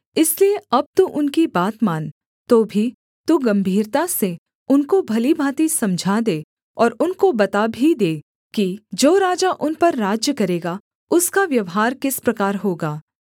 इसलिए अब तू उनकी बात मान तो भी तू गम्भीरता से उनको भली भाँति समझा दे और उनको बता भी दे कि जो राजा उन पर राज्य करेगा उसका व्यवहार किस प्रकार होगा